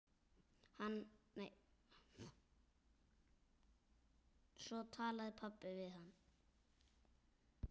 Svo talaði pabbi við hann.